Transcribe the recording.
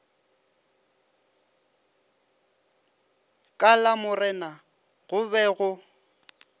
ka lamorena go be go